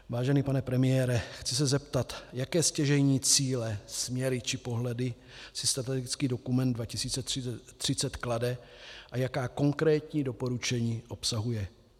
Vážený pane premiére, chci se zeptat, jaké stěžejní cíle, směry či pohledy si strategický dokument 2030 klade a jaká konkrétní doporučení obsahuje.